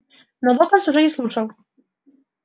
но локонс уже не слушал